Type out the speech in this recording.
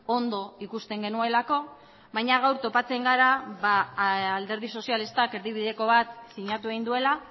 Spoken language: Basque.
ondo ikusten genuelako baina gaur topatzen gara alderdi sozialistak erdibideko bat sinatu egin duela